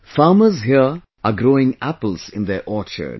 Farmers here are growing apples in their orchards